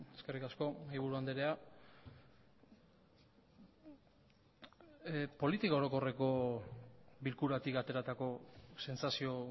eskerrik asko mahaiburu andrea politika orokorreko bilkuratik ateratako sentsazio